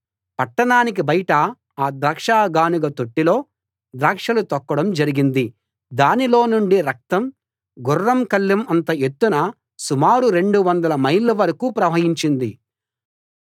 పట్టణానికి బయట ఆ ద్రాక్ష గానుగ తొట్టిలో ద్రాక్షలు తొక్కడం జరిగింది దానిలో నుండి రక్తం గుర్రం కళ్ళెం అంత ఎత్తున సుమారు రెండు వందల మైళ్ళ వరకూ ప్రవహించింది